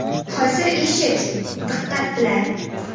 Hozir eshit, diqqat bilan!